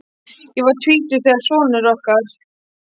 Ég var tvítug þegar sonur okkar